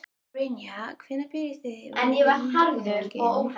Brynja: Hvenær byrjið þið yfirleitt undirbúninginn?